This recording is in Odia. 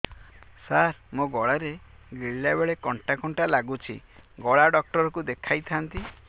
ସାର ମୋ ଗଳା ରେ ଗିଳିଲା ବେଲେ କଣ୍ଟା କଣ୍ଟା ଲାଗୁଛି ଗଳା ଡକ୍ଟର କୁ ଦେଖାଇ ଥାନ୍ତି